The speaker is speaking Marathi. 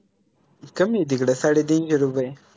कमी आय तिकडं साडेतीनशे रुपये